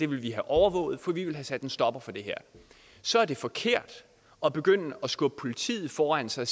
vil vi have overvåget for vi vil have sat en stopper for det her så er det forkert at begynde at skubbe politiet foran sig